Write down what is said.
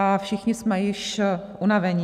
A všichni jsme již unavení.